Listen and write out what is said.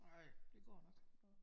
Nej det går nok